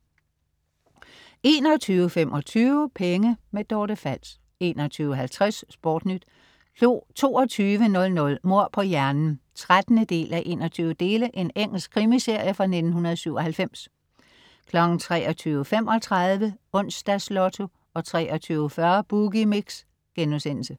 21.25 Penge. Dorte Fals 21.50 SportNyt 22.00 Mord på hjernen 13:21. Engelsk krimiserie fra 1997 23.35 Onsdags Lotto 23.40 Boogie Mix*